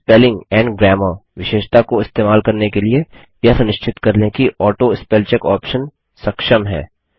spelling and grammar विशेषता को इस्तेमाल करने के लिए यह सुनिश्चित कर लें कि ऑटोस्पेलचेक ऑप्शन सक्षम है